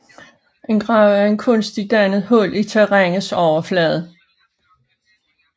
En grav er et kunstigt dannet hul i terrænets overflade